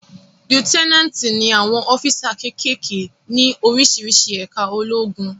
Líútínátì ni àwọn ọ́físà kékèké ní oríṣiríṣi ẹ̀ká ológun